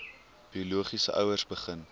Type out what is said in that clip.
biologiese ouers begin